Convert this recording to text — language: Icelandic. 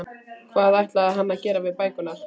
Hvað ætlaði hann að gera við bækurnar?